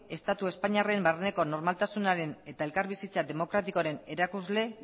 estatu espainiarraren barneko normaltasunaren eta elkar bizitza demokratikoaren erakusle